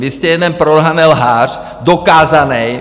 Vy jste jeden prolhanej lhář, dokázanej.